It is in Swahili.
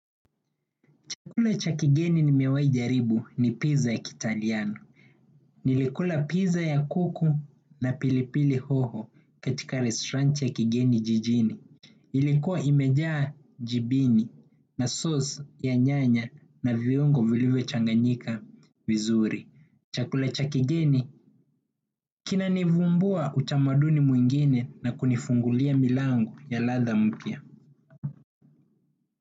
Chakula cha kigeni nimewai jaribu ni pizza ya kiitaliano. Nilikula pizza ya kuku na pilipili hoho katika restaurant ya kigeni jijini. Ilikua imejaa jibini na sauce ya nyanya na viungo vilivyo changanyika vizuri. Chakula cha kigeni kinani vumbua utamaduni mwingine na kunifungulia milango ya latha mpya.